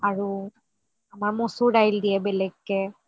আৰু আমাৰ মচুৰ দাইল দিয়ে বেলেগকে